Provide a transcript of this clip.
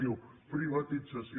diu privatització